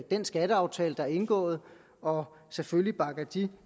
den skatteaftale der er indgået og selvfølgelig bakker de